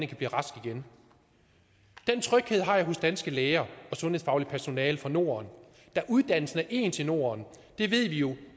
kan blive rask igen den tryghed har jeg hos danske læger og sundhedsfagligt personale fra norden da uddannelsen er ens i norden det ved vi jo